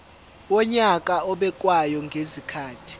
wonyaka obekwayo ngezikhathi